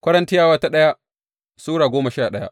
daya Korintiyawa Sura goma sha daya